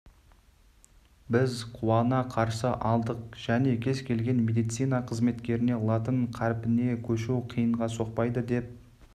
біз қуана қарсы алдық және кез келген медицина қызметкеріне латын қарпіне көшу қиынға соқпайды деп